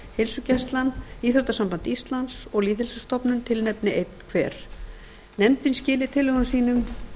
heilsugæslan íþróttasamband íslands og lýðheilsustofnun tilnefni einn hver nefndin skili tillögum sínum